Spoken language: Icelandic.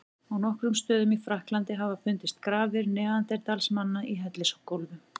Á nokkrum stöðum í Frakklandi hafa fundist grafir neanderdalsmanna í hellisgólfum.